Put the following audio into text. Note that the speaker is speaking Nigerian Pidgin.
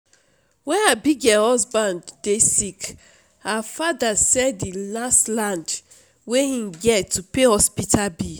when abigail husband dey sick her father sell the last land wey im get to pay hospital bill